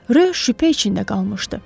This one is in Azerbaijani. Riox şübhə içində qalmışdı.